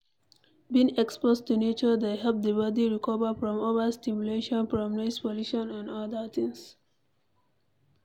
Being exposed to nature dey help di body recover from over stimulation from noise pollution and oda things